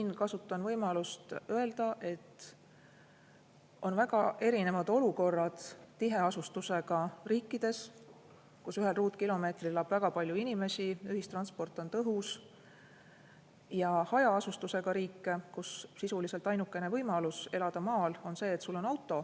Ma kasutan siin võimalust öelda, et on väga erinevad olukorrad tiheasustusega riikides, kus ühel ruutkilomeetril elab väga palju inimesi ja ühistransport on tõhus, ja hajaasustusega riikides, kus sisuliselt ainuke võimalus elada maal on siis, kui sul on auto.